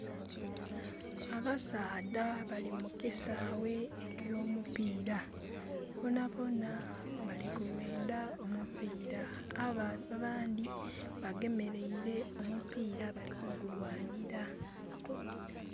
Abasaadha bali mu kisaghe ekyomupiira. Bonabona bali kwendha omupiira, abandhi bagemeleire omupiira bali kugulwanhira.